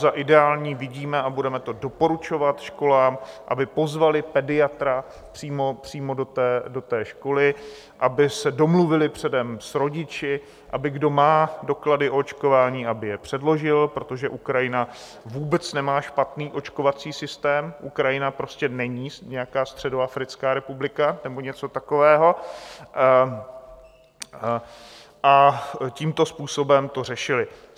Za ideální vidíme a budeme to doporučovat školám, aby pozvaly pediatra přímo do té školy, aby se domluvili předem s rodiči, aby kdo má doklady o očkování, aby je předložil - protože Ukrajina vůbec nemá špatný očkovací systém, Ukrajina prostě není nějaká Středoafrická republika nebo něco takového -, a tímto způsobem to řešili.